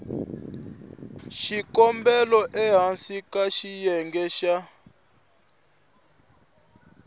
xikombelo ehansi ka xiyenge xa